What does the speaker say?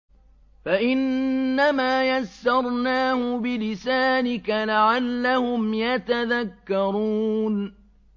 فَإِنَّمَا يَسَّرْنَاهُ بِلِسَانِكَ لَعَلَّهُمْ يَتَذَكَّرُونَ